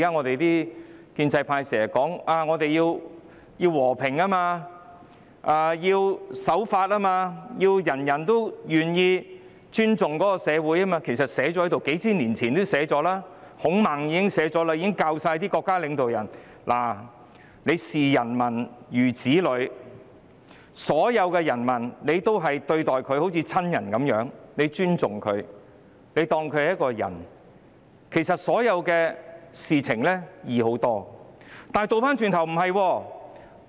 目前建制派經常把和平、守法、尊重社會掛在口邊，其實這些道理數千年前已有記載，孔孟早已教導國家領導人視民如子，將所有人民當作親人般對待和尊重，如是者所有事情也會好辦得多。